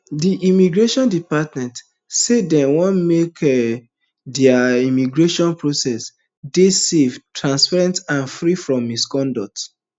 di immigration department say dem want make um dia um immigration process dey safer transparent and free from misconduct